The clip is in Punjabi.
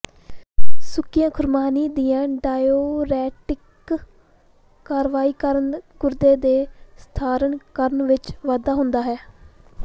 ਸੁੱਕੀਆਂ ਖੁਰਮਾਨੀ ਦੀਆਂ ਡਾਇਓਰੈਟਿਕ ਕਾਰਵਾਈ ਕਾਰਨ ਗੁਰਦੇ ਦੇ ਸਧਾਰਨਕਰਨ ਵਿੱਚ ਵਾਧਾ ਹੁੰਦਾ ਹੈ